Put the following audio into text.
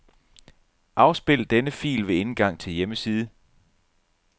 Afspil denne fil ved indgang til hjemmeside.